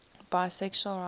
bisexual writers